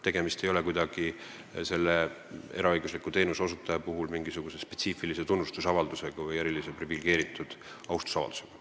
Selle eraõigusliku teenuseosutaja puhul ei ole kuidagi tegemist mingisuguse spetsiifilise tunnustus- või austusavaldusega eriliselt privilegeeritud isikule.